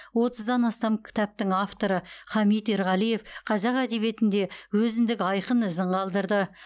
отыздан астам кітаптың авторы хамит ерғалиев қазақ әдебиетінде өзіндік айқын ізін қалдырды